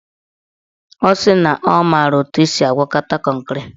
Ọ sị na ọ mara etu esi agwakọta kọnkịrị